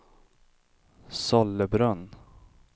Sollebrunn